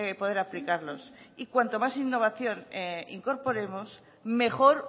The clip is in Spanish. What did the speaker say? poder aplicarlos y cuanta más innovación incorporemos mejor